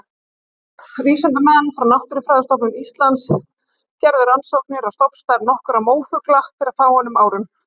Vísindamenn frá Náttúrufræðistofnun Íslands gerðu rannsóknir á stofnstærð nokkurra mófugla fyrir fáeinum árum.